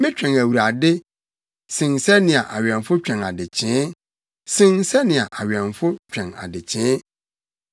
Metwɛn Awurade sen sɛnea awɛmfo twɛn adekyee, sen sɛnea awɛmfo twɛn adekyee.